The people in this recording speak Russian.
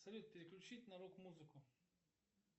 салют переключить на рок музыку